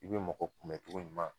I be mɔgɔ kunmɛ cogoɲuman